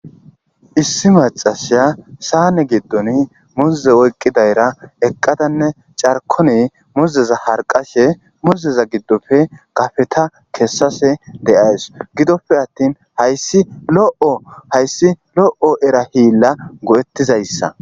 Issi macashiya saane giddon muze oyqqi dayra eqqadanne carkoni muzeza harqashe muzeza giddofe gafeta kessase de'ays gidoppe attin hayssi lo'o hayssi lo'o era hiilla go'ettizayssa.